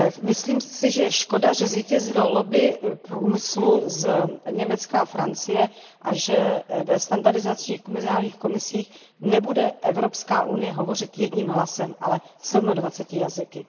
Myslím si, že je škoda, že zvítězilo lobby průmyslu z Německa a Francie a že v standardizačních mezinárodních komisích nebude Evropská unie hovořit jedním hlasem, ale sedmadvaceti jazyky.